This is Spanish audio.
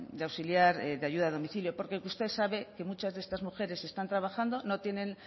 de auxiliar de ayuda a domicilio porque usted sabe que muchas de estas mujeres están trabajando no tienen